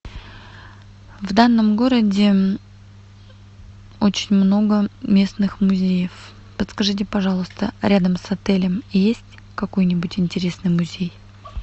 в данном городе очень много местных музеев подскажите пожалуйста рядом с отелем есть какой нибудь интересный музей